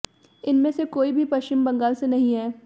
इनमें से कोई भी पश्चिम बंगाल से नहीं है